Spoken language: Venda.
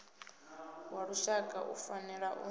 wa lushaka u fanela u